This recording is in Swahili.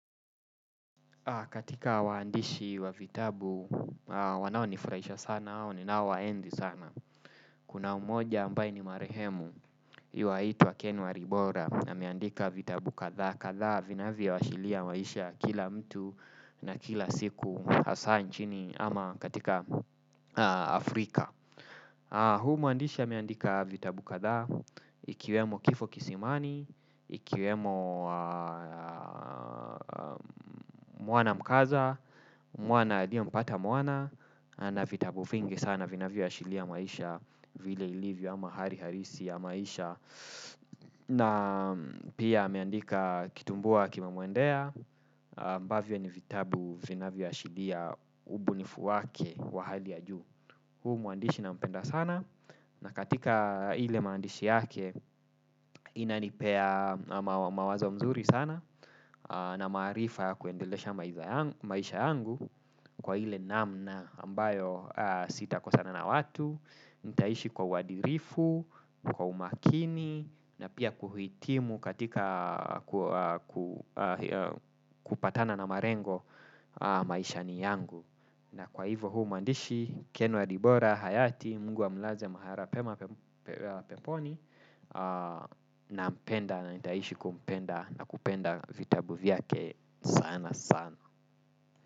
Katika waandishi wa vitabu, wanaonifurahisha sana, au niaowaenzi sana, kuna mmoja ambaye ni marehemu, yuaitwa Ken walibora, ameandika vitabu kadhaa kadhaa, vinavyoashilia maisha ya kila mtu na kila siku, hasa nchini, ama katika Afrika. Huyu muandishi ameandika vitabu kadhaa, ikiwemo kifo kisimani, ikiwemo Mwana mkaza, Mwana aliyempata mwana. Na vitabu vingi sana vinavyoashiria maisha vile ilivyo ama hali halisi ya maisha. Na pia ameandika kitumbua kime muendea, ambavyo ni vitabu vinavyoashiria ubunifu wake wa hali ya juu. Huyu muandishi nampenda sana na katika ile maandishi yake inanipea mawazo mzuri sana, na maarifa kuendelesha maisha yangu kwa ile namna ambayo sitakosana na watu. Nitaishi kwa uadilifu, kwa umakini, na pia kuhitimu katika kupatana na malengo maishani yangu. Na kwa hivyo huyu mwandishi, Ken walibora, hayati, mungu amlaze mahala pema peponi, nampenda na nitaishi kumpenda na kupenda vitabu vyake sana sana.